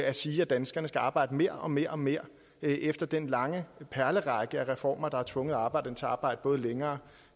at sige at danskerne skal arbejde mere og mere mere efter den lange perlerække af reformer der har tvunget arbejderne til at arbejde både længere